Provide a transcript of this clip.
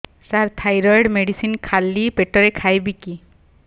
ସାର thyroid medicine ଖାଲି ପେଟରେ ଖାଇବି କି